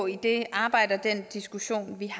i det arbejde og den diskussion vi